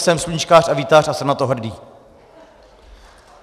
jsem sluníčkář a vítač a jsem na to hrdý.